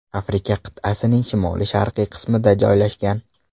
Afrika qit’asining Shimoli-sharqiy qismida joylashgan.